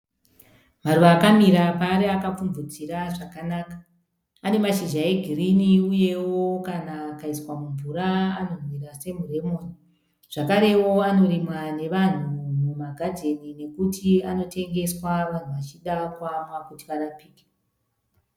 Maruva akamira paari akapfubvutira zvakanaka. Ane mashizha egiri uyewo kana akaiswa mumvura anonhuwirira semuremoni. Zvakarewo anorimwa nevanhu mumagadheni nokuti anotengeswa vanhu vachida kuamwa kuti varapike.